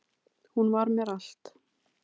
Hún var mér allt